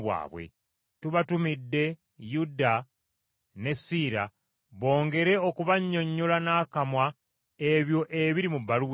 Tubatumidde Yuda ne Siira bongere okubannyonnyola n’akamwa ebyo ebiri mu bbaluwa eno.